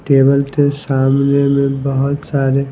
table के सामने में बहुत सारे--